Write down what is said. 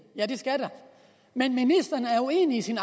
ja det skal der men ministeren er uenig i sit